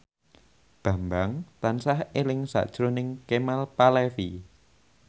Bambang tansah eling sakjroning Kemal Palevi